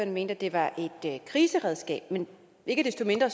mente at det var et kriseredskab ikke desto mindre